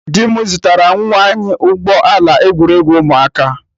Di m zụtara nwa anyị ụgbọ ala egwuregwu ụmụaka.